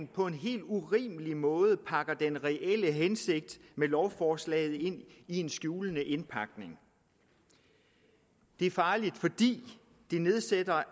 på en helt urimelig måde den reelle hensigt med lovforslaget ind i en skjulende indpakning det er farligt fordi det nedsætter